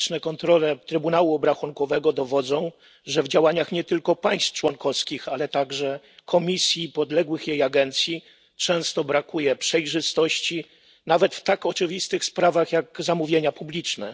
Liczne kontrole Trybunału Obrachunkowego dowodzą, że w działaniach nie tylko państw członkowskich, ale także Komisji i podległych jej agencji często brakuje przejrzystości, nawet w tak oczywistych sprawach jak zamówienia publiczne.